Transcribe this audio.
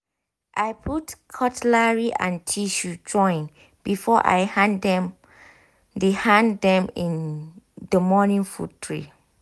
i put cutlery and tissue join before i hand them the hand them the morning food tray.